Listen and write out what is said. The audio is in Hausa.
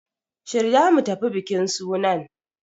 Shirya mu tafi bikin sunan!